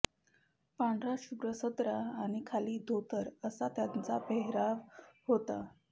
पांढरा शुभ्र सदरा आणि खाली धोतर असा त्यांचा पेहराव होता